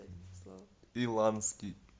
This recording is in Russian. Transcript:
иланский